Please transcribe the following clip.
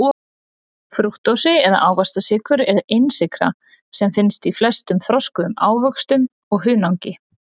Frúktósi eða ávaxtasykur er einsykra sem finnst í flestum þroskuðum ávöxtum og hunangi.